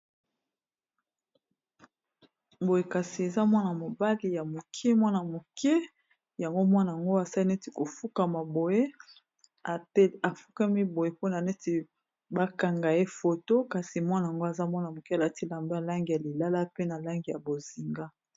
Boye kasi eza mwana mobali ya moke mwana moke yango mwana ango asali neti kofukama boye afukami boye mpona neti bakangaye foto kasi mwana yango aza mwana moke alati lamba langi ya lilala pe na langi ya bozinga.